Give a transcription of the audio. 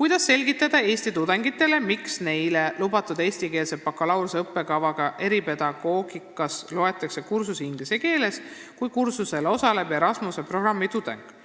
"Kuidas selgitada eesti tudengitele, miks neile lubatud eestikeelse bakalaureuseõppekavaga eripedagoogikas loetakse kursus inglise keeles, kui kursusel osaleb Erasmuse programmi tudeng?